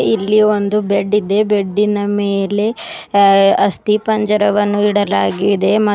ಇಲ್ಲಿ ಒಂದು ಬೆಡ್ ಇದೆ ಬೆಡ್ ಇನ ಮೇಲೆ ಆಸ್ತಿ ಪಂಜರವನ್ನು ಇಡಲಾಗಿದೆ ಮ --